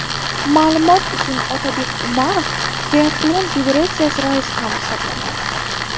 Ma’lumot uchun, Otabek Umarov Triatlon federatsiyasi raisi ham hisoblanadi.